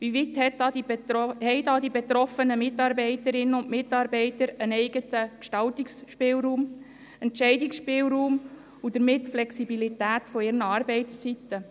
Inwieweit haben die betroffenen Mitarbeiterinnen und Mitarbeiter einen eigenen Gestaltungsfreiraum, Entscheidungsspielraum und damit die Flexibilität bezüglich ihrer Arbeitszeiten?